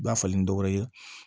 Ba falen ni dɔwɛrɛ ye